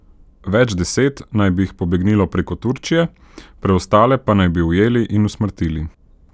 Več deset naj bi jih pobegnilo preko Turčije, preostale pa naj bi ujeli in usmrtili.